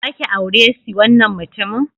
Za ki aure si wannan mutumin?